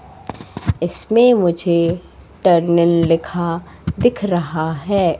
इसमें मुझे टर्निंल लिखा दिख रहा है।